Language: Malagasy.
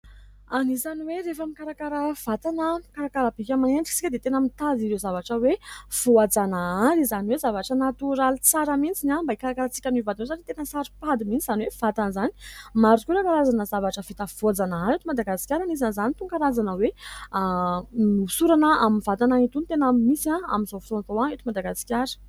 Anisan'ny hoe rehefa mikarakara vatana, mikarakara bika aman'endrika isika dia tena mitady ireo zavatra hoe voajanahary: izany hoe zavatra natoraly tsara mintsy ny ao mba hikarakarantsika ny vatana satria tena saro-pady mihintsy izany hoe vatana izany maro karazana zavatra vita voajanahary eto Madagasikara anisan' izany itony karazana hoe nosorana amin'ny vatana itony tena miasa amin'izao fotoana eto Madagasikara.